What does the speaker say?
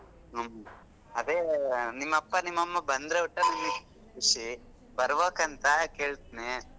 ಹ್ಮ್ ಅದೆ ನಿಮ್ ಅಪ್ಪಾ ನಿಮ್ ಅಮ್ಮಾ ಬಂದ್ರೆ ಒಟ್ಟಾ ನನಗ್ ಖುಷಿ ಬರ್ಬೆಕ್ ಅಂತ ಕೇಳ್ತೀನಿ.